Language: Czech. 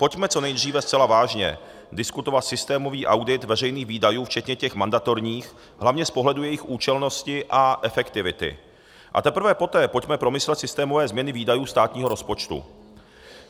Pojďme co nejdříve zcela vážně diskutovat systémový audit veřejných výdajů, včetně těch mandatorních, hlavně z pohledu jejich účelnosti a efektivity, a teprve poté pojďme promyslet systémové změny výdajů státního rozpočtu.